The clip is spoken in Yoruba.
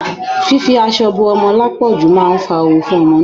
Fífi aṣọ bo ọmọ lápọ̀jù máa fa ooru fún ọmọ náà.